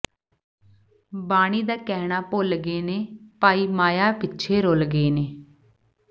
ਬਾਣੀ ਦਾ ਕਹਿਣਾ ਭੁੱਲ ਗਏ ਨੇ ਭਾਈ ਮਾਇਆ ਪਿੱਛੇ ਰੁਲ ਗਏ ਨੇ